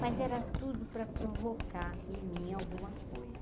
Mas era tudo para provocar em mim alguma coisa.